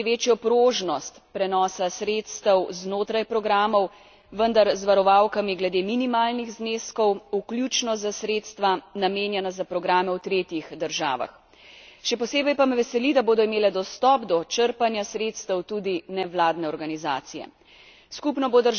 Zagotovili smo tudi večjo prožnost prenosa sredstev znotraj programov, vendar z varovalkami glede minimalnih zneskov, vključno za sredstva, namenjena za programe v tretjih državah. Še posebej pa me veseli, da bodo imele dostop do črpanja sredstev tudi nevladne organizacije.